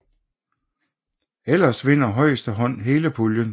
Ellers vinder højeste hånd hele puljen